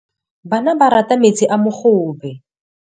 Bana ba rata metsi a mogobe.